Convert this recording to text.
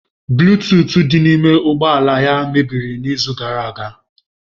Buluutuut di n'ime ụgbọ ala ya mebiri n'izu gara aga.